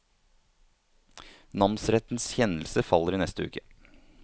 Namsrettens kjennelse faller i neste uke.